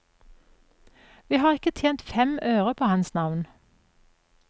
Vi har ikke tjent fem øre på hans navn.